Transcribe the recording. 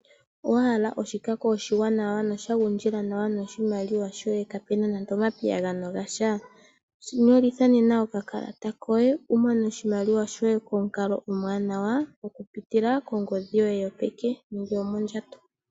Owa hala oshikako oshiwanawa nosha gundjila nawa noshimaliwa shoye kaapuna nando omapiyagano gasha? Nyolitha nena okakalata koye wu mone oshimaliwa shoye pamukalo omuwanawa okupitila kongodhi yoye yopeke nenge yomondjato.